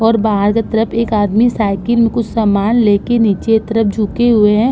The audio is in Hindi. और बाहर से तरफ एक आदमी साइकिल मे कुछ सामान लेकर नीचे तरफ झुके हुए है।